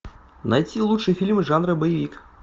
найти лучшие фильмы жанра боевик